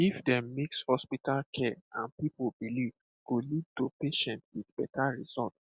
if dem mix hospital care and people belief go lead to patients wit better result